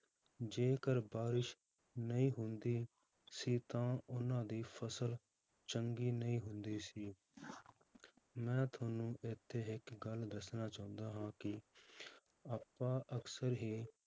ਜੇਕਰ ਬਾਰਿਸ਼ ਨਹੀਂ ਹੁੰਦੀ ਸੀ ਤਾਂ ਉਹਨਾਂ ਦੀ ਫਸਲ ਚੰਗੀ ਨਹੀਂ ਹੁੰਦੀ ਸੀ ਮੈਂ ਤੁਹਾਨੂੰ ਇੱਥੇ ਇੱਕ ਗੱਲ ਦੱਸਣਾ ਚਾਹੁੰਦਾ ਹਾਂ ਕਿ ਆਪਾਂ ਅਕਸਰ ਹੀ